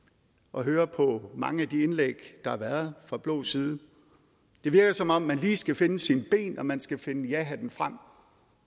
at høre på mange af de indlæg der har været fra blå side det virker som om man lige skal finde sine ben og at man skal finde jahatten frem